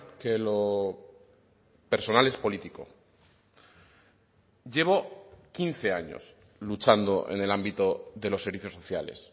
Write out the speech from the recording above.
que lo personal es político llevo quince años luchando en el ámbito de los servicios sociales